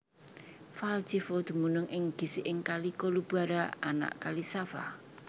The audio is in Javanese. Valjevo dumunung ing gisiking Kali Kolubara anak Kali Sava